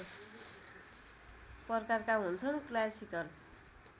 प्रकारका हुन्छन् क्लासिकल